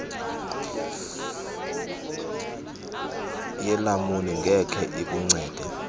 yelamuni ngeke ikuncede